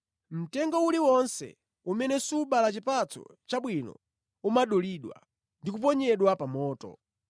Mtengo uliwonse umene subala chipatso chabwino umadulidwa ndi kuponyedwa pa moto.